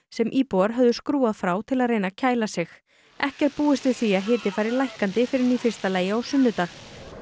sem íbúar höfðu skrúfað frá til að reyna að kæla sig ekki er búist við því að hiti fari lækkandi fyrr en í fyrsta lagi á sunnudag